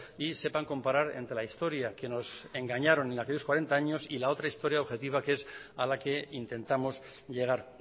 y sepan comparar entre la historia que nos engañaron en aquellos cuarenta años y la otra historia objetiva que es a la que intentamos llegar